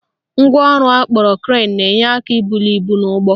Ngwaọrụ akpọrọ crane na-enye aka ibuli ibu n'ụgbọ